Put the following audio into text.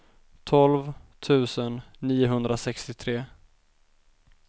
tolv tusen niohundrasextiotre